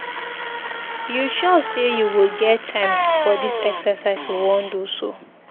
You sure say you go get time for dis exercise we wan do so?